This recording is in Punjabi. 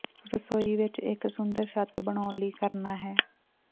ਰਸੋਈ ਵਿੱਚ ਇੱਕ ਸੁੰਦਰ ਛੱਤ ਬਣਾਉਣ ਲਈ ਕਰਨਾ ਹੈ